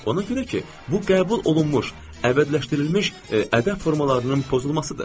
Ona görə ki, bu qəbul olunmuş, əbədiləşdirilmiş ədəb formalarının pozulmasıdır.